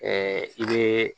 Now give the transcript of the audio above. i bɛ